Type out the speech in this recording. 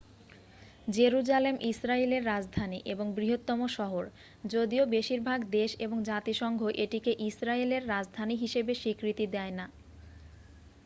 Jerusalem ইসরায়েলের রাজধানী এবং বৃহত্তম শহর যদিও বেশিরভাগ দেশ এবং জাতিসংঘ এটিকে ইসরায়েলের রাজধানী হিসাবে স্বীকৃতি দেয় না